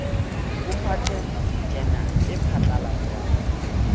ho patent journal e phatlalatswang